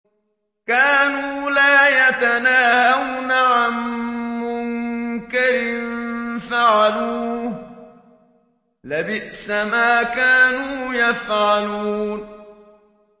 كَانُوا لَا يَتَنَاهَوْنَ عَن مُّنكَرٍ فَعَلُوهُ ۚ لَبِئْسَ مَا كَانُوا يَفْعَلُونَ